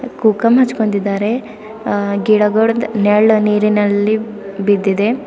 ಕುಕಮ ಹಚ್ಚಕೊಂಡಿದ್ದಾರೆ ಆ ಗಿಡಗೋಳದ ನೆಳ್ ನೀರಿನಲ್ಲಿ ಬಿದ್ದಿದೆ.